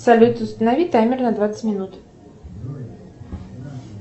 салют установи таймер на двадцать минут